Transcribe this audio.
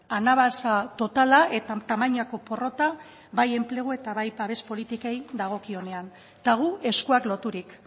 anabasa totala eta tamainako porrota bai enplegu eta bai babes politikei dagokionean eta gu eskuak loturik